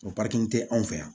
O tɛ anw fɛ yan